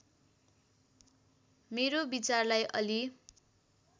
मेरो विचारलाई अलि